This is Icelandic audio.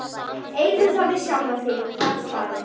Eigðu það við sjálfan þig, var svarið.